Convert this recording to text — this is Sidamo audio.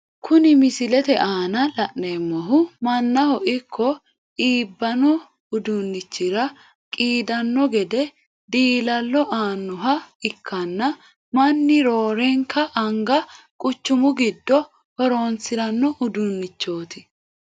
Kunni misilete aanna la'neemohu manaho iko iibano uduunichira qiidano gede diilallo aanoha ikanna manni roorenka anga guchumu gido horoonsirano uduunichooti.